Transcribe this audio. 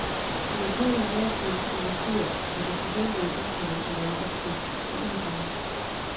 Det lokale erhvervsliv investerer, men det forventede internationale opsving er udeblevet.